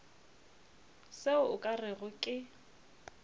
se o ka rego ke